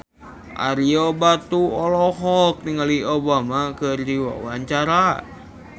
Ario Batu olohok ningali Obama keur diwawancara